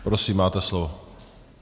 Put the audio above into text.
Prosím, máte slovo.